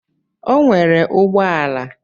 O nwere ụgbọ ala?